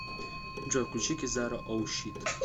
джой включи кизару оу щит